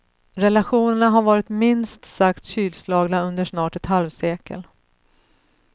Relationerna har varit minst sagt kylslagna under snart ett halvsekel.